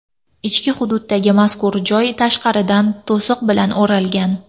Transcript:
Ichki hududdagi mazkur joy tashqaridan to‘siq bilan o‘ralgan.